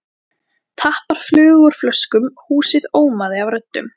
Tappar flugu úr flöskum, húsið ómaði af röddum.